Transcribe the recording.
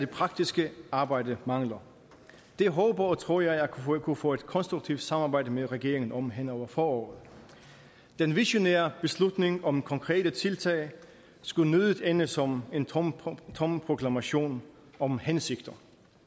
praktiske arbejde mangler det håber og tror jeg at vi kunne få et konstruktivt samarbejde med regeringen om hen over foråret den visionære beslutning om konkrete tiltag skulle nødig ende som en tom proklamation om hensigter